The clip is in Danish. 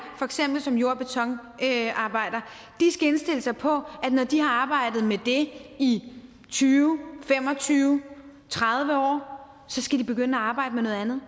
som jord og betonarbejder skal indstille sig på at når de har arbejdet med det i tyve fem og tyve tredive år skal de begynde at arbejde med noget andet